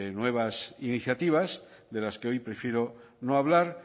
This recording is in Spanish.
nuevas iniciativas de las que hoy prefiero no hablar